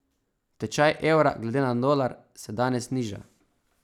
Tečaj evra glede na dolar se danes niža.